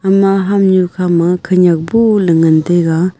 ama hamnyu khama khenyak bohley ngan taiga.